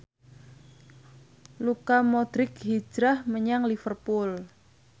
Luka Modric hijrah menyang Liverpool